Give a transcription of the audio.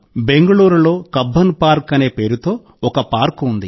బెంగళూరులో 'Cubbon park' అనే పేరుతో ఒక పార్కు ఉంది